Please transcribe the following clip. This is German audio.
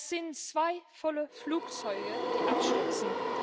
Das sind zwei volle Flugzeuge, die abstürzen.